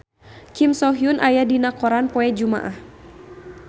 Kim So Hyun aya dina koran poe Jumaah